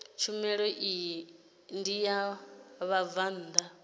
tshumelo iyi ndi ya vhabvann